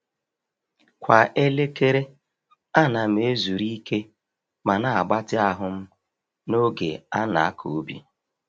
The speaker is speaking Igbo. Kwa elekere, a na'm-ezuru ike ma na-agbatị ahụ'm n’oge a na-akọ ubi.